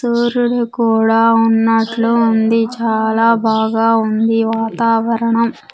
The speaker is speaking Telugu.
సూర్యుడు కూడా ఉన్నట్లు ఉంది చాలా బాగా ఉంది వాతావరణం.